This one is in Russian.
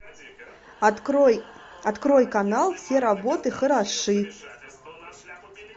открой открой канал все работы хороши